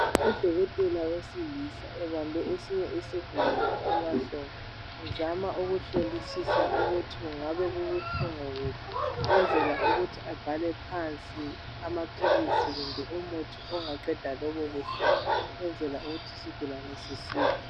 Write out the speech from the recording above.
udokotela wesilisa ebambe esinye isigulane emahlombe ezama ukuhlolisisa kungabe kubuhlungu kuphi ukuthi abhale phansi umuthi kumbe amaphilisi aqeda lobo buhlungu ukwenzela ukuthi isigulane sisile